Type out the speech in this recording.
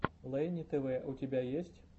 лейни тв у тебя есть